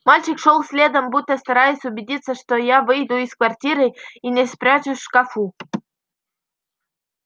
мальчик шёл следом будто стараясь убедиться что я выйду из квартиры а не спрячусь в шкафу